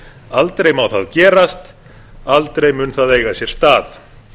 aldrei má það gerast aldrei mun það eiga sér stað